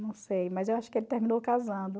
Não sei, mas eu acho que ele terminou casando.